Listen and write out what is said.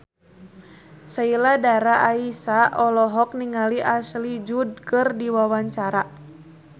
Sheila Dara Aisha olohok ningali Ashley Judd keur diwawancara